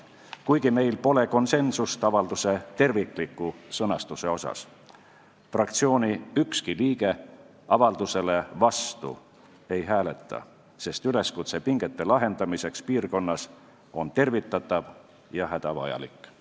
Kuigi meil pole konsensust avalduse tervikliku sõnastuse asjus, fraktsiooni ükski liige avaldusele vastu ei hääleta, sest üleskutse pingete lahendamiseks piirkonnas on tervitatav ja hädavajalik.